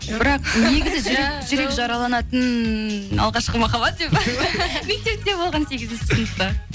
бірақ негізі жүрек жүрек жараланатын алғашқы махаббат деп па мектепте болған сегізінші сыныпта